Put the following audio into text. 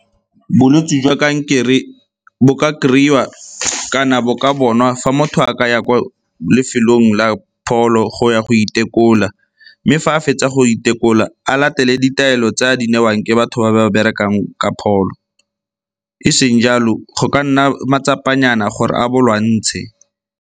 Bolwetse jwa kankere bo ka kry-iwa kana bo ka bonwa fa motho a ka ya ko lefelong la pholo go ya go itekola. Mme fa a fetsa go itekola a latele ditaelo tse a di newang ke batho ba ba berekang ka pholo, e seng jalo go ka nna matsapa nyana gore a bo lwantshe.